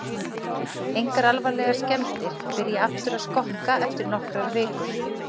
Engar alvarlegar skemmdir, byrja aftur að skokka eftir nokkrar vikur.